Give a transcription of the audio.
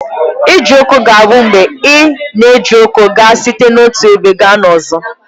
Ije ụkwụ aga bụ mgbe ị na-eji ụkwụ aga site n'otu ebe gaa n'ọzọ.